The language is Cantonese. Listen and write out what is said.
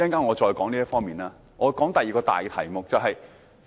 我先談談第二個大題目。